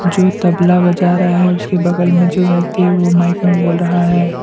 जो तबला बजा रहा है उसके बगल में जो व्यक्ति है वो माइक में बोल रहा है।